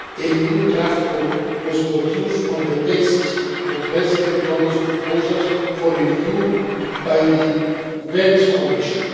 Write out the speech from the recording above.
A new draft was produced on the basis of President Dodon's proposals for review by the Venice Commission.